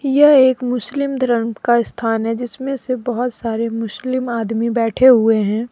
यह एक मुस्लिम धर्म का स्थान है जिसमें से बहुत सारे मुस्लिम आदमी बैठे हुए हैं।